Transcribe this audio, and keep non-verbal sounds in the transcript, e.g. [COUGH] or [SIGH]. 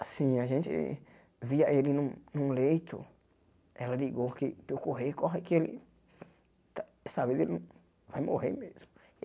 Assim, a gente via ele num leito, ela ligou que para eu correr e corre que ele, tá dessa vez, ele [CRIES] vai morrer mesmo.